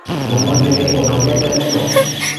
ũmũthĩ nĩ ũnogete mũno?